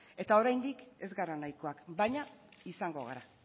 eta oraindik es gara naikoak baina izango gara